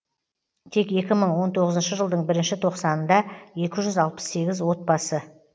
тек екі мың он тоғызыншы жылдың бірінші тоқсанында екі жүз алпыс сегіз отбасы